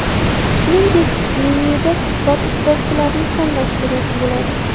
Shuningdek, menyuda suhbat ishtirokchilarini tanlash kerak bo‘ladi.